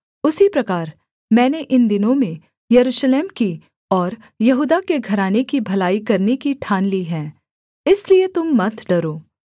उसी प्रकार मैंने इन दिनों में यरूशलेम की और यहूदा के घराने की भलाई करने की ठान ली है इसलिए तुम मत डरो